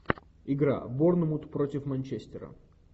игра борнмут против манчестера